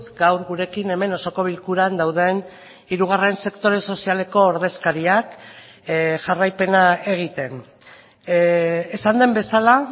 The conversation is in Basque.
gaur gurekin hemen osoko bilkuran dauden hirugarren sektore sozialeko ordezkariak jarraipena egiten esan den bezala